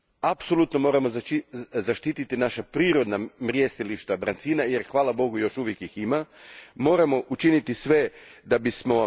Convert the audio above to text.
Apsolutno moramo zaštititi naša prirodna mrijestilišta brancina jer, hvala bogu, još uvijek ih ima.